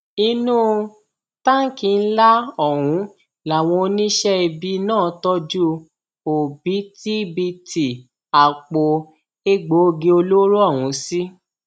inú táǹkì ńlá ọhún làwọn oníṣẹ ibi náà tọjú òbítíbitì àpò egbòogi olóró ọhún sí